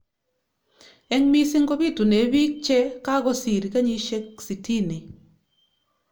Eng mising ko bitunee pik che kakosir kenyishek sitini.